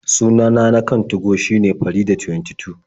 Sunana na kan 2go shine Faridah22.